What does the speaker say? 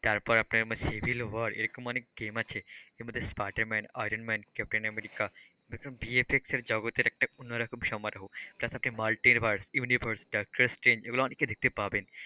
তারপর আপনার Civil War এরকম অনেক game আছে এর মধ্যে Spider Man, Iron Man, Captain America বিএফক্সল জগতের একটা অন্যরকম সমারোহ টারপর মালতেভার্স, ইউনিভার্স, ডক্টর স্ট্রেঞ্জ এগুলো অনেকই দেখতে পাবেন।